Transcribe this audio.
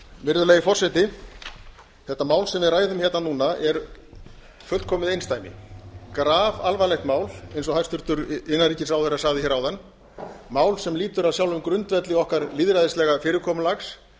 virðulegi forseti þetta mál sem við ræðum hérna núna er fullkomið einsdæmi grafalvarlegt mál eins og hæstvirtur innanríkisráðherra sagði hér áðan mál sem lýtur að sjálfum grundvelli okkar lýðræðislega fyrirkomulags